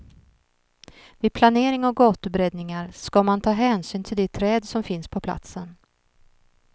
Vid planering och gatubreddningar ska man ta hänsyn till de träd som finns på platsen.